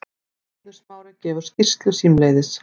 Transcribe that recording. Eiður Smári gefur skýrslu símleiðis